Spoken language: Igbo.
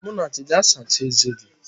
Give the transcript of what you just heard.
Munachi, gaa sachaa eze gị!